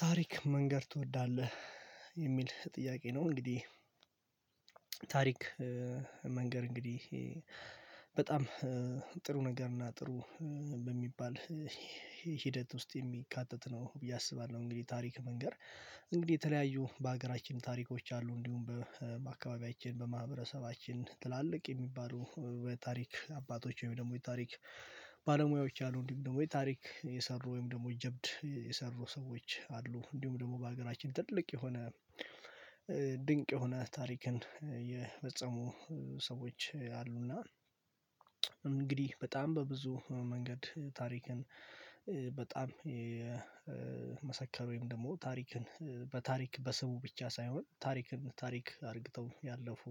ታሪክ መንገር ትወዳለህ የሚል ጥያቄ ነው? እንግዲህ ታሪክ መንገድ እንግዲህ በጣም ጥሩ ነገር እና ጥሩ በሚባል ሂደት ውስጥ የሚካተት ነው ብዬ አስባለሁ። እንግዲህ ታሪክ መንገር እንግዲህ የተለያዩ በሀገራችን ታሪኮች አሉ እንዲሁም በአካባቢያችን በማህበረሰባችን ትላልቅ የሚባሉ በታሪክ አባቶች ወይም ደግሞ የታሪክ ባለሙያዎች አሉ እንዲሁም ደግሞ የታሪክ የሰሩ ወይም ደግሞ ጀብድ የሰሩ ሰዎች አሉ እንዲሁም ደግሞ በሀገራችን ትልቅ የሆነ ድንቅ የሆነ ታሪክን የፈጸሙ ሰዎች አሉና። እንግዲህ በጣም በብዙ መንገድ ታሪክን በጣም የመሰከሩ ወይም ደግሞ ታሪክን በታሪክ በስ ብቻ ሳይሆን ታሪክን ታሪክ አድርግተው ያለፉ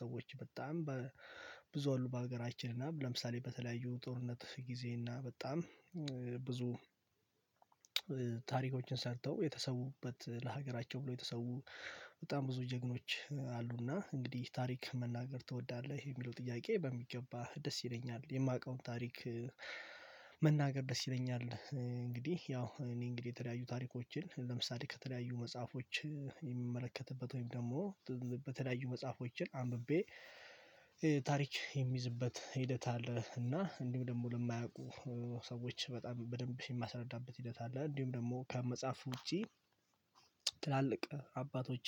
ሰዎች በጣም በብዙ ሁሉ በሀገራችን እና ለምሳሌ በተለያዩ ጦርነት ጊዜ እና በጣም ብዙ ታሪኮችን ሰርተው የተሰዉበት ለሀገራቸው ብሎ የተሰው በጣም ብዙ ጀግኖች አሉና እንግዲህ ታሪክ መናገር ትወዳለህ የሚለው ጥያቄ በሚገባ ደስ ይለኛል የማውቀውን ታሪክ መናገር ደስ ይለኛል። እንግዲህ ያው እኔ እንግዲህ የተለያዩ ታሪኮችን ለምሳሌ ከተለያዩ መጽሐፎች የሚመለከትበት ወይም ደግሞ በተዳዩ መጽሐፎችን አንብቤ ታሪክ የሚይዝበት ሂደት እና እንዲሁ ደግሞ ለማያውቁ ሰዎች በጣም በደንብ ሲማስረዳበት ሂደት አለ። እንዲሁም ደግሞ ከመጻፍ ውጪ ትላልቅ አባቶች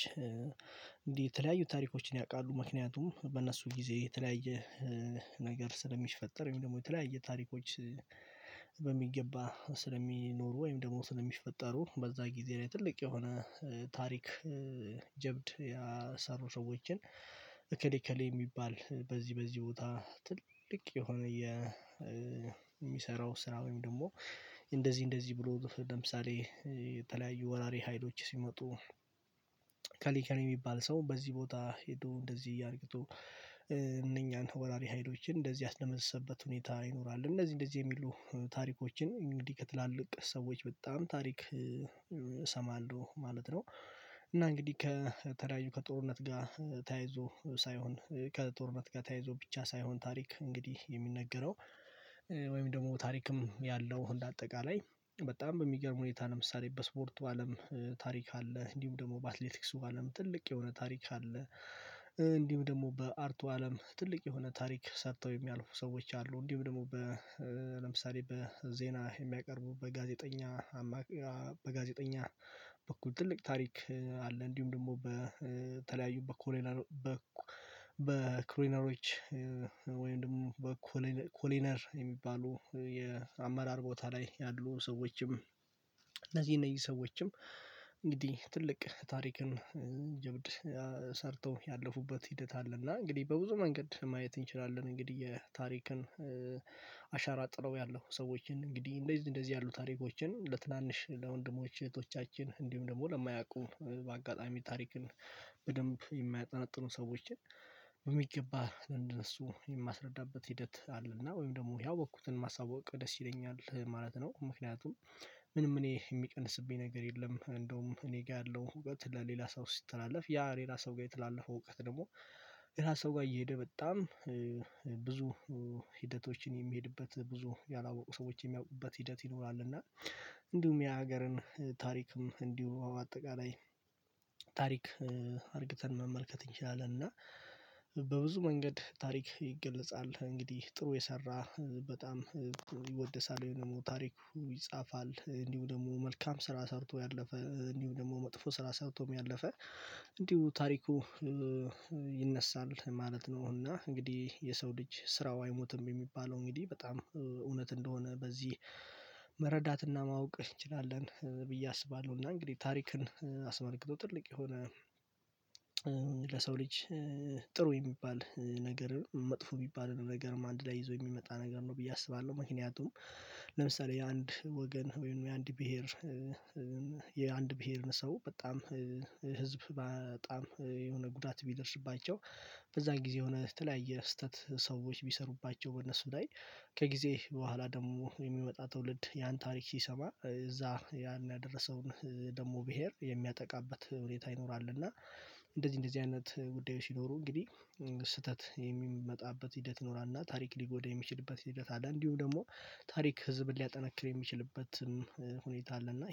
እንዲህ የተለያዩ ታሪኮችን ያውቃሉ ምክንያቱም በእነሱ ጊዜ የተለያየ ነገር ስለሚሽፈጠር ወይም ደግሞ የተለያየ ታሪኮች በሚገባ ስለሚኖሩ ወይም ደግሞ ስለሚፈጠሩ በዛ ጊዜ ላይ ትልቅ የሆነ ታሪክ። ሰሩ ሰዎችን እከሌ እከሌ የሚባል በዚህ በዚህ ቦታ ትልቅ የሆነ የሚሰራው ስራ ወይም ደግሞ እንደዚህ እንደዚህ ብሎ ለምሳሌ የተለያዩ ወራሪ ሀይሎች ሲመጡ እከሌ እከር የሚባል ሰው በዚህ ቦታ ሄዶ እንደዚህ እያርግቶ እነኛን ወራሪ ሀይሎችን እንደዚህ አስለመሰበት ሁኔታ ይኖራል እንደዚህ እንደዚህ የሚሉ ታሪኮችን እንግዲህ ከትላልቅ ሰዎች በጣም ታሪክ እሰማለሁ ማለት ነው። እና እንግዲህ ከተለያዩ ከጦርነት ጋር ተያይዞ ሳይሆን ከጦርነት ጋር ተያይዞ ብቻ ሳይሆን ታሪክ እንግዲህ የሚነገረው ወይም ደግሞ ታሪክም ያለው አጠቃላይ በጣም በሚገርም ሁኔታ ለምሳሌ በስፖርቱ አለም ታሪክ አለ እንዲሁም ደግሞ በአትሌቲክሱ አለም ትልቅ የሆነ ታሪክ አለ። እንዲሁም ደግሞ በአርቱ አለም ትልቅ የሆነ ታሪክ ሰርተው የሚያልፉ ሰዎች አሉ እንዲሁም ደግሞ ለምሳሌ በዜና የሚያቀርቡ በጋዜጠኛ አማካይ በጋዜጠኛ በኩል ትልቅ ታሪክ አለ እንዲሁም ደግሞ በተለያዩ በኮረኔሮች በኮለኔሮች ወይም ደግሞ በኮርኔርየሚባሉ የአመራር ቦታ ላይ ያሉ ሰዎችም እነዚህ እነዚህ ሰዎችም እንግዲህ ትልቅ ታሪክን ጀብድ ሰርተው ያለፉበት ሂደት አለ። እና እንግዲህ በብዙ መንገድ ማየት እንችላለን እንግዲህ የታሪክን አሻራጥረው ያለው ሰዎችን እንግዲህ እንደዚህ እንደዚህ ያሉ ታሪኮችን ለትናንሽ ለወንድሞች እህቶቻችን እንዲሁም ደግሞ ለማያውቁ በአጋጣሚ ታሪክን በደንብ የማያጠናጥኑ ሰዎችን በሚገባ እንደነሱ የማስረዳበት ሂደት አለና ወይም ደግሞ ያወቅኩትን ማሳወቅ ደስ ይለኛል ማለት ነው። ምክንያቱም ምንም እኔ የሚቀንስብኝ ነገር የለም። እንደውም እኔ ጋር ያለው ሁለት ለሌላ ሰው ሲተላለፍ ያ ሌላ ሰው ጋር የተላለፈው እውቀት ደግሞ ሌላ ሰው ጋር እየሄደ በጣም ብዙ ሂደቶችን የሚሄድበት ብዙ ያላወቁ ሰዎችን የሚያውቁበት ሂደት ይኖራል። እና እንዲሁም የሀገርን ታሪክም እንዲሁ አጠቃላይ ታሪክ አድርገን መመልከት እንችላለን እና በብዙ መንገድ ታሪክ ይገለጻል እንግዲህ ጥሩ የሰራ በጣም ይወደሳል ወይ ደግሞ ታሪኩ ይጻፋል እንዲሁ ደግሞ መልካም ስራ ሰርቶ ያለፈ እንዲሁ ደግሞ መጥፎ ስራ ሰርቶም ያለፈ እንዲሁ ታሪኩ ይነሳል ማለት ነው። እና እንግዲህ የሰው ልጅ ስራው አይሞትም የሚባለው እንግዲህ በጣም እውነት እንደሆነ በዚህ መረዳትና ማወቅ እንችላለን ብዬ አስባለሁ። እና እንግዲህ ታሪክን አስመልክቶ ትልቅ የሆነ ለሰው ልጅ ጥሩ የሚባል ነገር መጥፎ የሚባል ነገር አንድ ላይ ይዞ የሚመጣ ነገር ነው ብዬ አስባለሁ። ምክንያቱም ለምሳሌ የአንድ ወገን ወይም የአንድ ብሄር የአንድ ብሄርን ሰው በጣም ህዝብ በጣም የሆነ ጉዳት ቢደርስባቸው በዛን ጊዜ ሆነህ በተለያየ ስህተት ሰዎች ቢሰሩባቸው በእነሱ ላይ ከጊዜ በኋላ ደግሞ የሚመጣ ትውልድ ያን ታሪክ ሲሰማ እዛ ያን ያደረሰውን ደግሞ ብሄር የሚያጠቃበት ሁኔታ ይኖራል እና እንደዚህ እንደዚህ አይነት ጉዳዮች ይኖሩ እንግዲህ ስህተት የሚመጣበት ሂደት ይኖራል። እና ታሪክ ሊጎዳ የሚችልበት ሂደት አለ እንዲሁም ደግሞ ታሪክ ህዝብን ሊያጠናክር የሚችልበትም ሁኔታ አለ። እና